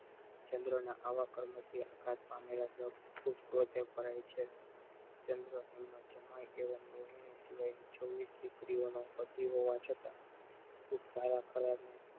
ચંદ્ર ને આવા કર્મો થી આઘાત પામેલા દક્ષ પોતે છે ચંદ્ર એમનો જમાય એવમ રોહિણી સિવાય છવીશ દીકરીઓ નો પતિ હોવા છતાં ખુદ સારા ખરાબ ને